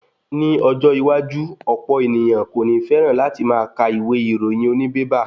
Ni ọjọ́ iwájú, ọ̀pọ̀ ènìyàn kò ní féràn láti máa ka ìwé ìròyìn oní bébà.